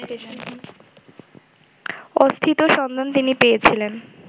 অস্থিত সন্ধান তিনি পেয়েছিলেন